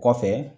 Kɔfɛ